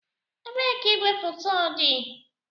Ebee ka igwefoto dị?